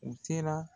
U sera